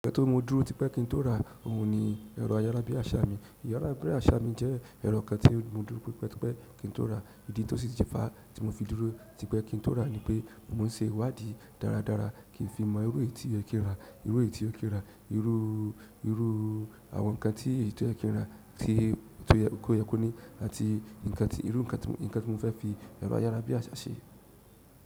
Torí mo dúró tipe ki n to ra ohun ni ero ayara bi asa mi ìyára bí àsá mi jẹ́ ẹ̀rọ kan tí mo dúró típẹ́ típẹ́ kí n tó rà. Ìdí tí ó sì ti fa tí mo fi dúró típẹ́ kí n tó rà ní pé mo n ṣe ìwádì dáradára kí n fi mọ irú èyí tí ó yẹ kí n rà, irú èyí tí ó yẹ kí n rà, irú, irú àwọn ǹkan tí èyí tó yẹ kí n ra tí, tí o yẹ kó ní àti ǹkan tí, irú ǹkan, ǹkan tí mo fẹ́ fi ẹ̀rọ ayára bí àsá ṣe.